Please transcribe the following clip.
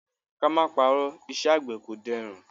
Ka má parọ́, iṣẹ́ àgbẹ̀ kò dẹrùn.